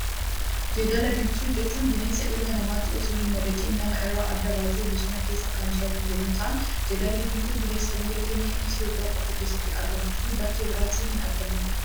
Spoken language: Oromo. Jeedala diimtuu jechuun bineensa ilma namaatti osoo hin madaqne, nama irraa adda baatee bosona keessa kan jiraattu yemmuu ta'an, jeedalli diimtuu bineensa biyya keenya Itoophiyaa qofa keessatti argamtuu fi bakkee biraatti hin argamnedha.